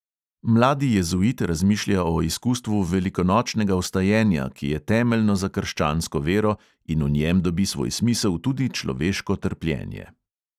Mladi jezuit razmišlja o izkustvu velikonočnega vstajenja, ki je temeljno za krščansko vero in v njem dobi svoj smisel tudi človeško trpljenje.